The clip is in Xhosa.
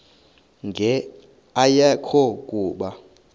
nqe ayekho kuba